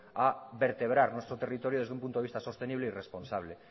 a vertebrar nuestro territorio desde un punto de vista sostenible y responsable